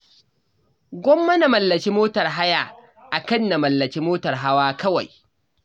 Gwamma na mallaki motar haya a kan na mallaki motar hawa kawai.